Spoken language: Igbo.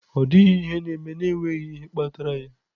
Ọ dịghị ihe na-eme n'enweghị ihe kpatara ya.